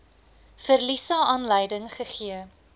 verliese aanleiding gegee